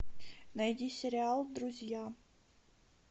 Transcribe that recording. найди сериал друзья